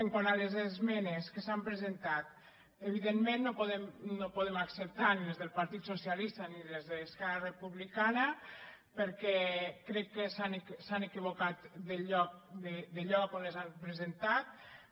quant a les esmenes que s’han presentat evidentment no podem acceptar ni les del partit socialista ni les d’esquerra republicana perquè crec que s’han equivocat de lloc on les han presentades